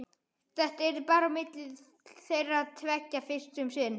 Þetta yrði bara á milli þeirra tveggja fyrst um sinn.